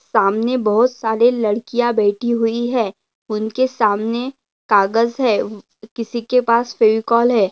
सामने बहोत सारे लड़कियाँ बैठी हुई है उनके सामने कागज है ऊ किसी के पास फेविकॉल है।